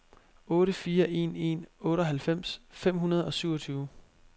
otte fire en en otteoghalvfems fem hundrede og syvogtyve